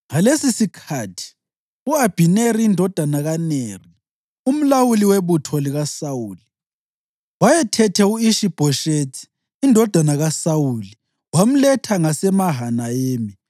Ngalesisikhathi, u-Abhineri indodana kaNeri, umlawuli webutho likaSawuli, wayethethe u-Ishi-Bhoshethi indodana kaSawuli wamletha ngaseMahanayimi.